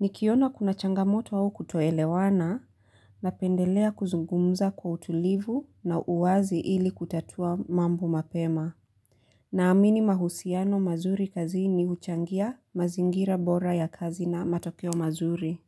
Nikiona kuna changamoto au kutoelewana na pendelea kuzungumza kwa utulivu na uwazi ili kutatua mambo mapema. Na amini mahusiano mazuri kazi ni uchangia mazingira bora ya kazi na matokeo mazuri.